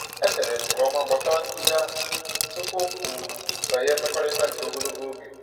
E chere m nke ọma gbasara nkuzi ahụ tupu m banye mmekọrịta nke ogologo oge.